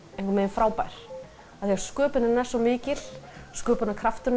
frábær sköpunin er svo mikil og sköpunarkrafturinn